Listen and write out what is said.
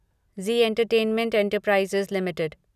Zee entertainment enterprises limited